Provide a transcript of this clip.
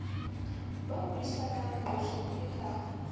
ba buisanang qotsong e ka